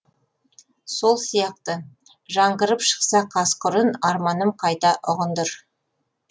сол сияқты жаңғырып шықса қасқыр үн арманым қайта ұғындыр